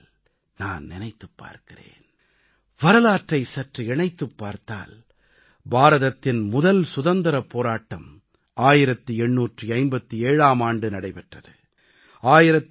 சில வேளைகளில் நான் நினைத்துப் பார்க்கிறேன் வரலாற்றை சற்று இணைத்துப் பார்த்தால் பாரதத்தின் முதல் சுதந்திரப் போராட்டம் 1857ஆம் ஆண்டு நடைபெற்றது